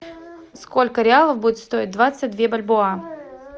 сколько реалов будет стоить двадцать две бальбоа